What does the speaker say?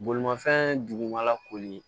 Bolimafɛn dugumala koli